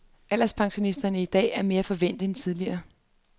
Alderspensionister i dag er mere forvænt end tidligere.